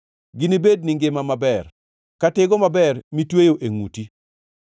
Ginibedni ngima maber, ka tigo maber mitweyo e ngʼuti.